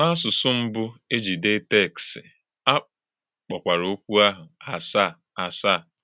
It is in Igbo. N’ásụ̀sụ̀ mbù e jì dée téksì, a kpọ̀kwara òkwú áhụ “àsàà àsàà.”